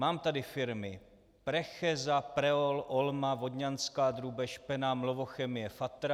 Mám tady firmy Precheza, Preol, Olma, Vodňanská drůbež, Penam, Lovochemie, Fatra.